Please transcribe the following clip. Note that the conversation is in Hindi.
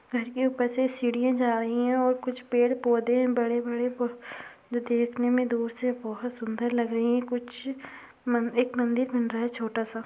घर क ऊपर से सीढियाँ जा रही है और कुछ पेड़ पोधे बड़े बड़े जो देखने में दूर से बहोत सुन्दर लग रही है कुछ एक मन्दिर बन रहा है छोटा सा--